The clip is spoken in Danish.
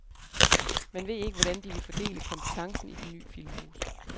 Man ved ikke, hvordan de vil fordele kompetencen i det ny filmhus.